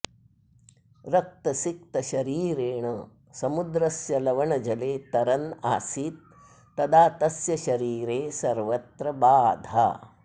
रक्तसिक्तशरीरेण समुद्रस्य लवणजले तरन् आसीत् तदा तस्य शरीरे सर्वत्र बाधा